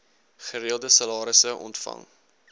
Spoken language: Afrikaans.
gereelde salarisse ontvang